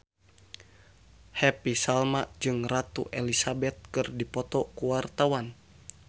Happy Salma jeung Ratu Elizabeth keur dipoto ku wartawan